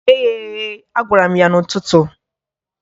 "Ghee ya eghe!" a gwara m ya n'ụtụtụ.